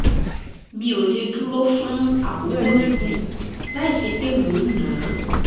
mi ò lè dúró fún àkókò gígùn láìsí pé mò ń nà á